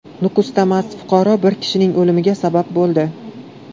Nukusda mast fuqaro bir kishining o‘limiga sabab bo‘ldi.